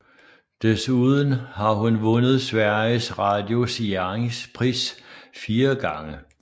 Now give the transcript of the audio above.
Desuden har hun vundet Sveriges Radios Jerringpris fire gange